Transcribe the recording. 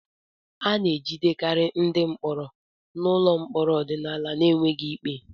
A na-ejidekarị ndị mkpọrọ nọ n'ụlọ mkpọrọ ọdịnala n'enweghị ikpe